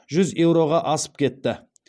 жүз еуроға асып кетті